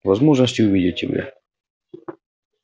возможности увидеть тебя